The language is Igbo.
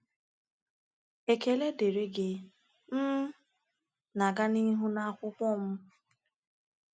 Ekele dịrị gị, m na-aga n’ihu n’akwụkwọ m.